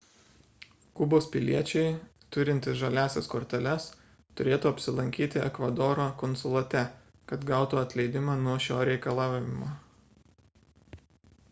kubos piliečiai turintys žaliąsias korteles turėtų apsilankyti ekvadoro konsulate kad gautų atleidimą nuo šio reikalavimo